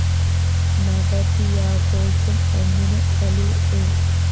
നവതിയാഘോഷം ഒന്നിന് കലൂര്‍ എ